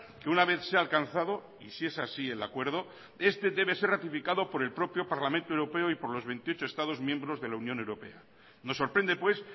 que una vez se ha alcanzado y si es así el acuerdo este debe ser ratificado por el propio parlamento europeo y por los veintiocho estados miembros de la unión europea nos sorprende pues